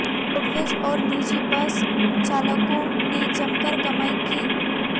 roadways और निजी bus चालकों ने जमकर कमाई की